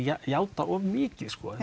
játa of mikið